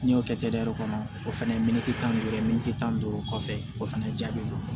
N'i y'o kɛ kɔnɔ o fɛnɛ ye tan ni duuru ye tan ni duuru kɔfɛ o fɛnɛ ja be bɔ